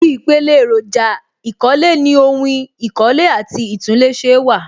Ibi ìpele èròjà ìkọ́lé ni ohun ìkọ́lé àti ìtúnléṣe wà